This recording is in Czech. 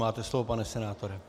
Máte slovo, pane senátore.